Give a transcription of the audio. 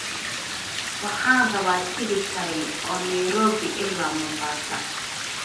waxaan rabaa tigidh tareen oo nairobi ilaa mombasa